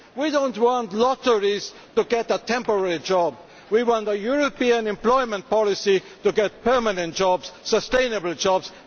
We do not want lotteries to win a temporary job we want a European employment policy to get permanent jobs, sustainable jobs.